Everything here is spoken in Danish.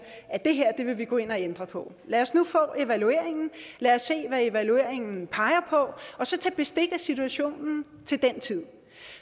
at det her vil man gå ind og ændre på lad os nu få evalueringen og lad os se hvad evalueringen peger på og så tage bestik af situationen til den tid